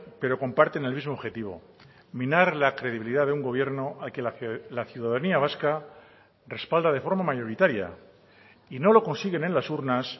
pero comparten el mismo objetivo minar la credibilidad de un gobierno al que la ciudadanía vasca respalda de forma mayoritaria y no lo consiguen en las urnas